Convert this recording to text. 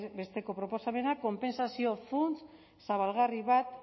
besteko proposamena konpentsazio funts zabalgarri bat